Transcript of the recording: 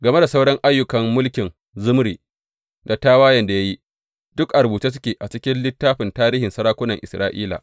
Game da sauran ayyukan mulkin Zimri, da tawayen da ya yi, duk a rubuce suke a cikin littafin tarihin sarakunan Isra’ila.